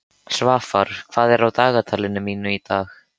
Svafar, hvað er á dagatalinu mínu í dag?